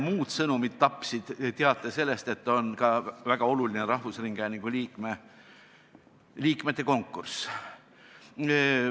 Muud sõnumid tapsid teate sellest, et käimas on ka väga oluline rahvusringhäälingu nõukogu liikmete konkurss.